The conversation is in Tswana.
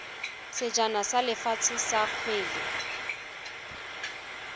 sejana sa lefatshe sa kgwele